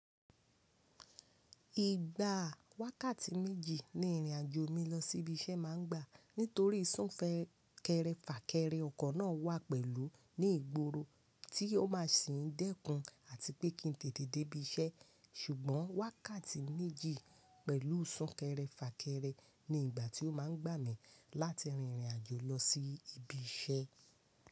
Ìgbà wákàtí méjì ni ìrìnàjò mi lọ sí ibi iṣẹ́ máa ń gbà nítorí súnkẹrẹ fàkẹrẹ ọkọ̀ náà wà pẹ̀lú ní ìgboro tí ó máa sì ń dẹ́kun àti pé kí n tètè dé ibi iṣẹ́. Ṣùgbọ́n wákàtí méjì pẹ̀lú súnkẹrẹ fàkẹrẹ ni ìgbà tí ó máa ń gbà mí láti rin ìrìnàjò lọ sí ibi iṣẹ́.